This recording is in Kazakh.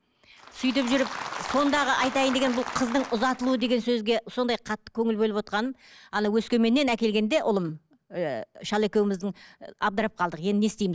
сөйтіп жүріп сондағы айтайын дегенім бұл қыздың ұзатылуы деген сөзге сондай қатты көңіл бөлівотқаным ана өскеменнен әкелгенде ұлым ііі шал екеуміздің абдырап қалдық енді не істеймін